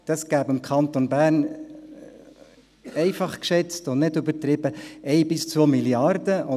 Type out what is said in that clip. Dies ergäbe für den Kanton Bern, einfach geschätzt, und nicht übertrieben, 1–2 Mrd. Franken.